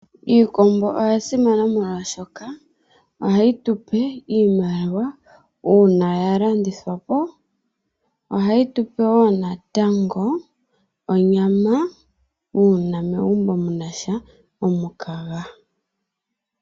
Iikombo oya simana, molwaashoka ohayi tupe iimaliwa, uuna ya landithwa po. Ohayi tu pe wo natango onyama, uuna megumbo mu na sha omukaga.